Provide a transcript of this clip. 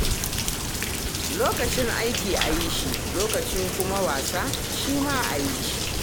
Lokacin aiki a yi shi, lokacin kuma wasa shi ma a yi shi